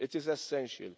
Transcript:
It is essential.